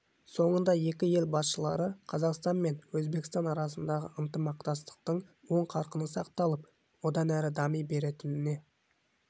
соңында екі ел басшылары қазақстан мен өзбекстан арасындағы ынтымақтастықтың оң қарқыны сақталып одан әрі дами беретініне